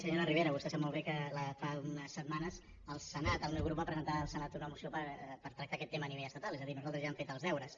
senyora rivera vostè sap molt bé que fa unes setmanes al senat el meu grup va presentar al senat una moció per tractar aquest tema a nivell estatal és a dir nosaltres ja hem fet els deures